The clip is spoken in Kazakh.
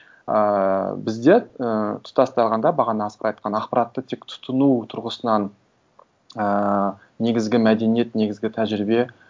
ыыы бізде ііі тұтастағанда бағана асқар айтқан ақпаратты тек тұтыну тұрғысынан ііі негізгі мәдениет негізгі тәжірибе